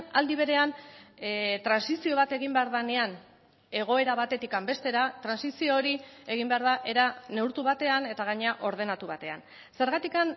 aldi berean trantsizio bat egin behar denean egoera batetik bestera trantsizio hori egin behar da era neurtu batean eta gainera ordenatu batean zergatik